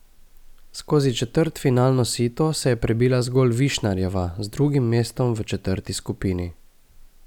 Skozi četrtfinalno sito se je prebila zgolj Višnarjeva z drugim mestom v četrti skupini.